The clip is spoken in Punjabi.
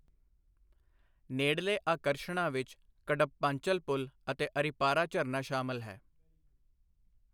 ਨੇੜਲੇ ਆਕਰਸ਼ਣਾਂ ਵਿੱਚ ਕਡੱਪਾਂਚਲ ਪੁਲ ਅਤੇ ਅਰਿਪਾਰਾ ਝਰਨਾ ਸ਼ਾਮਲ ਹੈ।